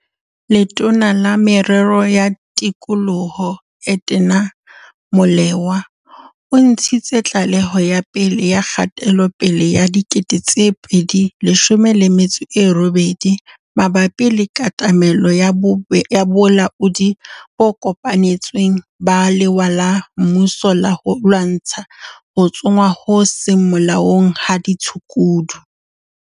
Letona la Merero ya Tikoloho, Edna Molewa, o ntshitse tlaleho ya pele ya kgatelopele ya 2018 mabapi le katamelo ya bolaodi bo kopanetsweng ba lewa la mmuso la ho lwantsha ho tsongwa ho seng molaong ha ditshukudu.